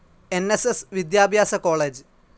N. S. S വിദ്യാഭ്യാസ college